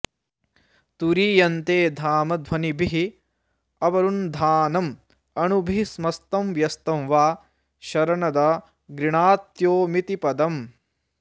तुरीयन्ते धाम ध्वनिभिरवरुन्धानमणुभिः समस्तं व्यस्तं वा शरणद गृणात्योमिति पदम्